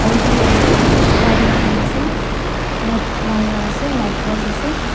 auto ase wire khan ase light wire ase light post ase.